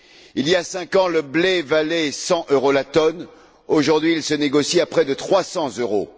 Il y a cinq ans, le blé valait 100 euros la tonne, aujourd'hui il se négocie à près de 300 euros.